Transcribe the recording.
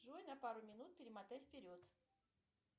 джой на пару минут перемотай вперед